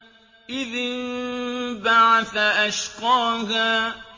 إِذِ انبَعَثَ أَشْقَاهَا